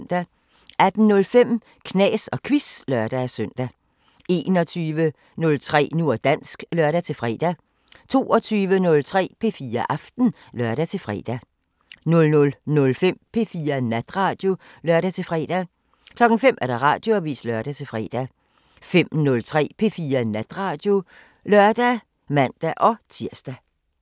18:05: Knas & Quiz (lør-søn) 21:03: Nu og dansk (lør-fre) 22:03: P4 Aften (lør-fre) 00:05: P4 Natradio (lør-fre) 05:00: Radioavisen (lør-fre) 05:03: P4 Natradio (lør og man-tir)